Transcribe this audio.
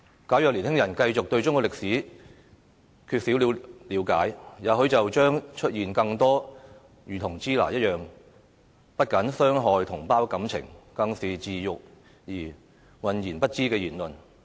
假如年輕人繼續對中國歷史缺乏了解，也許將會出現更多類似"支那"的言論，不僅傷害同胞感情，更是自辱而渾然不知的言論。